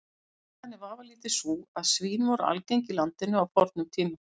Ástæðan er vafalítið sú að svín voru algeng í landinu á fornum tíma.